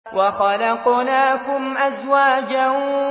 وَخَلَقْنَاكُمْ أَزْوَاجًا